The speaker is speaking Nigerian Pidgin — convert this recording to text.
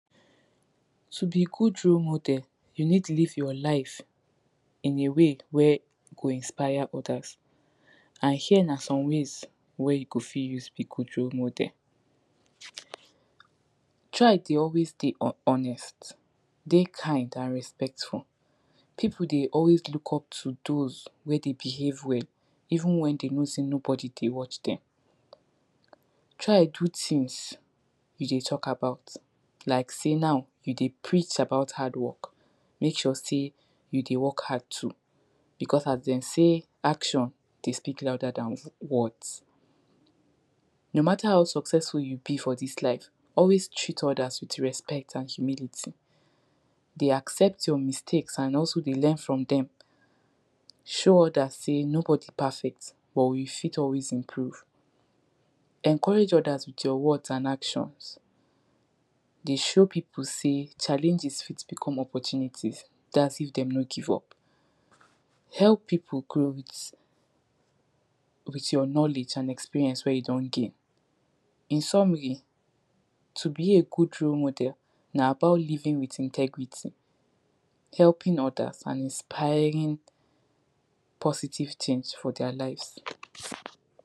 To be good model you need live your life in a way wey go inspire others, and here na some ways wey you go fit use be good role model. Try dey always dey dey honest, dey kind and respectful, pipu dey always look up to dise wey dey behave well even wen dey know sey no body dey watch dem. Try do tins you dey talk about like sey now you dey preach about hardwork make sure sey you dey work hard too becos as dem sey action dey speak louder dan words no matter how successful you be for dis life always treat others with respect and humility, dey accept your mistakes and also dey learn from dem show others sey no body perfect but you fit always improve, encourage others with your words and actions, dey show pipu sey challenges fit become opportunities dats if dem no give up. Help pipu grow with with your knowledge and experience wey you don gain. In summary, to be a good role model na about living with integrity, helping others and inspiring positive tins for dia lives.